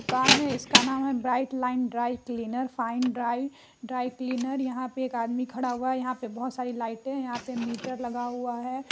दुकान है इसका नाम है bright line dry cleaners fine dry dry cleaners यहां पे एक आदमी खड़ा हुआ है यहां पर बहुत सारे लाइटे हैं यहां पर मीटर लगा हुआ है ।